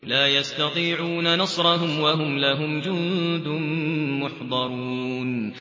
لَا يَسْتَطِيعُونَ نَصْرَهُمْ وَهُمْ لَهُمْ جُندٌ مُّحْضَرُونَ